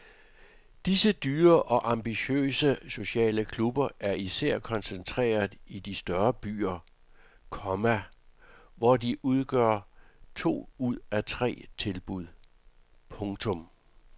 Disse dyre og ambitiøse sociale klubber er især koncentreret i de større byer, komma hvor de udgør to ud af tre tilbud. punktum